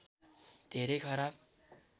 धेरै खराब